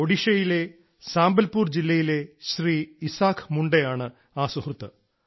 ഒഡീഷയിലെ സംബൽപുർ ജില്ലയിലെ ശ്രീ ഇസാക് മുണ്ടയാണ് ആ സുഹൃത്ത്